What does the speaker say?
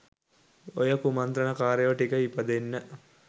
ඔය කුමන්තරණ කරයෝ ට්ක ඉපදෙන්න